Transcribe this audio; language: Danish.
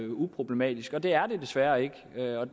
uproblematisk og det er det desværre ikke